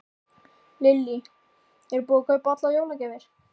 Lillý: Er búið að kaupa allar jólagjafir?